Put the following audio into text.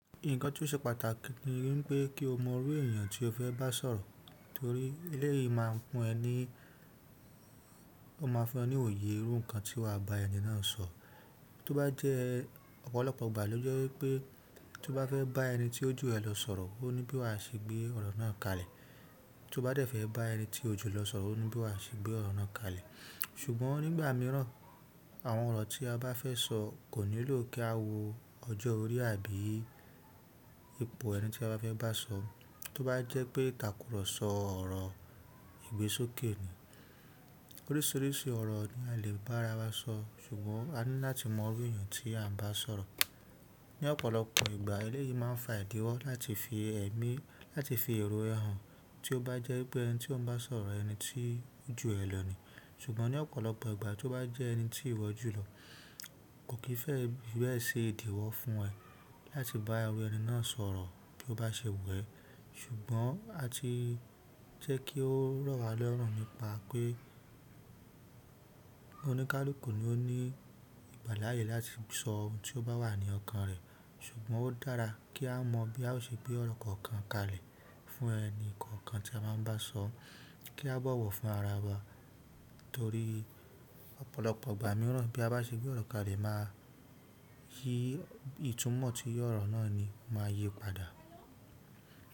Nǹkan tó ṣe pàtàkì ni wípé kí o mọ irú èèyàn tí o fẹ́ bá sọ̀rọ̀ torí eléyìí máa fún ẹ ní, o máa fún ẹ ní òye irú nǹkan tí wà á ba ẹni náà sọ. Tó bá jẹ́ ọ̀pọ̀lọpọ̀ ìgbà ló jẹ́ wípẹ́ tó bá fẹ́ bá ẹni tí ojú ẹ lọ sọ̀rọ̀, o ní bí wà á ṣe gbé ọ̀rọ̀ náà kalẹ̀. Tó bá dẹ̀ fẹ́ bá ẹni tí ojú lọ sọ̀rọ̀ o ní bí wà á ṣe gbé ọ̀rọ̀ náà kalẹ̀. Ṣùgbọ́n nígbà mìíràn, àwọn ọ̀rọ̀ tí a bá fẹ́ sọ kò nílò kí a wo ọjọ́ orí àbí ipò ẹni tí a bá fẹ́ bá sọ. Tó bá jẹ́ pé ìtàkùrọ̀sọ ọ̀rọ̀ ìgbésókè ni. Oríṣiríṣi ọ̀rọ̀ ni a lè bá ara wa sọ, ṣùgbọ́n a ní láti mọ irú èèyàn tí à ń bá sọ̀rọ̀. Ni ọ̀pọ̀lọpọ̀ ìgbà eléyìí máa ń fa ìdíwọ́ láti fi ẹ̀mí, láti fi èrò ẹhàn tí ó bá jẹ́ pé ẹni tí o ń bá sọ̀rọ̀ ẹni tí ojú ẹ lọ ni. Ṣùgbọ́n ní ọ̀pọ̀lọpọ̀ ìgbà tó bá jẹ́ ẹni tí ìwọ jùlọ kò kì í fẹ́ bí ẹ ṣe ìdíwọ́ fún ẹ láti bá irú ẹni náà sọ̀rọ̀ bí ó bá ṣe wu ẹ. Ṣùgbọ́n a ti jẹ́ kí ó rọ̀ wá lọrún nípa pé oníkálukú ni ó ní ìgbàlààyè láti sọ ohun tí ó bá wà ní ọkàn rẹ̀. Ṣùgbọ́n ó dára kí a mọ̀ bí a ó ṣe gbé ọ̀rọ̀ kọ̀ọ̀kan kalẹ̀ fún ẹni kọ̀ọ̀kan tí a máa ń bá sọ kí a bọ̀wọ̀ fún ara wa. Torí ọ̀pọ̀lọpọ̀ ìgbà mìíràn bí a bá ṣe gbé ọ̀rọ̀ kalẹ̀ máa yí ìtumọ̀ tí ọ̀rọ̀ náà ni máa yí padà.